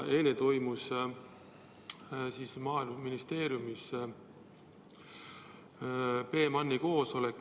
Eile toimus Maaeluministeeriumis PMAN-i koosolek.